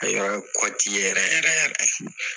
A yɛrɛ kɔti yɛrɛ yɛrɛ